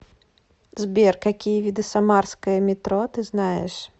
сбер какие виды самарское метро ты знаешь